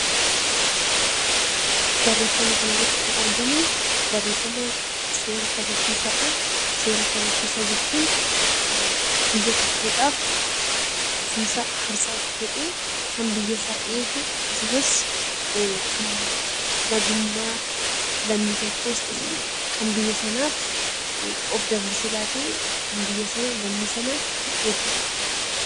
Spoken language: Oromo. Barreeffama kana irratti kan argamu barreeffama 'Seera kabachiisaa' dha. Seera kabachiisaa jechuun biyya tokkoo dhaaf ofii isaa aarsaa of godhee kan biyya isaa eegu; Akkasumas kan nagummaa lammii tokkoos ta'e kan biyya sanaaf of dabarsee laatee kan biyya sana lammii sana kan eegu dha.